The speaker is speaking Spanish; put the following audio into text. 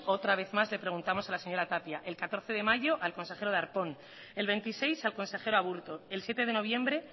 otra vez más le preguntamos a la señora tapia el catorce de mayo al consejero darpón el veintiséis al consejero aburto el siete de noviembre